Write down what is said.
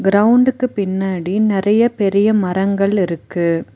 கிரவுண்டுக்கு பின்னாடி நறைய பெரிய மரங்கள் இருக்கு.